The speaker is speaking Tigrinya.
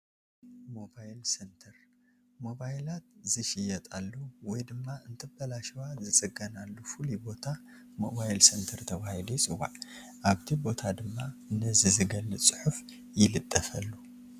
ሞባይል ሰንተር-ሞባይላት ዝሽየጣሉ ወይ ድማ እንትበላሸዋ ዝፅገናሉ ፍሉይ ቦታ ሞባይል ሰንተር ተባሂሉ ይፅዋዕ፡፡ ኣብቲ ቦታ ድማ ነዚ ዝገልፅ ፅሑፍ ይልጠፈሉ፡፡